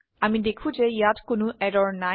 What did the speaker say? আমি দেখো যে ইয়াত কোনো এৰৰ নাই